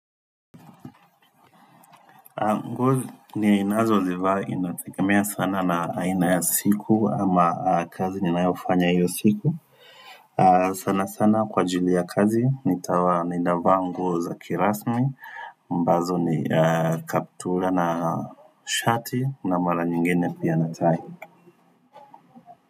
Ng ni inazwa zivaa inatekemea sana na inayasiku ama kazi ni naifanya hiyo siku sana sana kwa ajili ya kazi ninavaa nguo za kirasmi ambazo ni kaptula na shati na mara nyingene pia na tie.